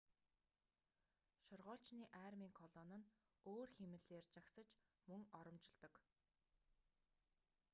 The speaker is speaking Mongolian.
шоргоолжны армийн колони нь өөр хэмнэлээр жагсаж мөн оромжилдог